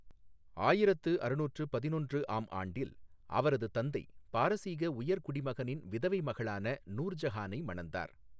ஆயிரத்து அறுநூற்று பதினொன்று ஆம் ஆண்டில் அவரது தந்தை பாரசீக உயர்குடிமகனின் விதவை மகளான நூர் ஜஹானை மணந்தார்.